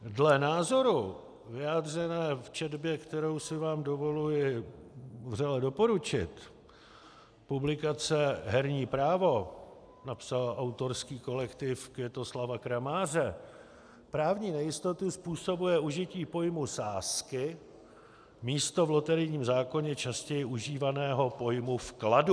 Dle názoru, vyjádřeného v četbě, kterou si vám dovoluji vřele doporučit, publikace Herní právo, napsal autorský kolektiv Květoslava Kramáře, právní nejistotu způsobuje užití pojmu sázky místo v loterijním zákoně častěji užívaného pojmu vkladu.